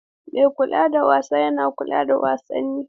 Mai kula da wasa yana kula da wasanni.